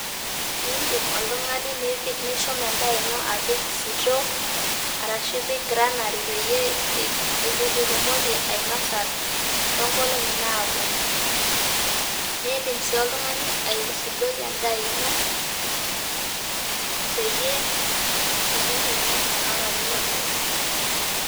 Eeh idim oltung'ani nipik nishum edaa ino apik sitoo arashu ipik granary peyie itumoki ainosa tong'oli napuonu. Nidim sii oltung'ani aisudoi edaa ino peyie itumoki ainosa tolarin opuonu.